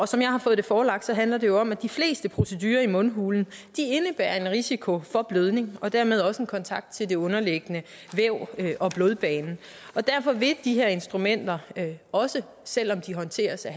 som jeg har fået det forelagt handler det jo om at de fleste procedurer i mundhulen indebærer en risiko for blødning og dermed også en kontakt til det underliggende væv og blodbanen derfor vil de her instrumenter også selv om de håndteres af